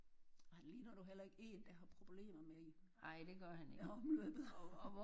Og han ligner nu heller ikke en der har problemer med i omløbet